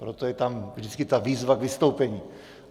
Proto je tam vždycky ta výzva k vystoupení.